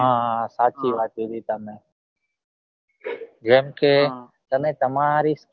હા હા સાચી વાત કીધી તમે જેમ કે તમે તમારી જ